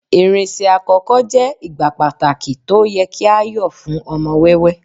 irinṣẹ àkókò je igbá pàtàkì to o ye ki a yo fún ọmọ wẹwẹ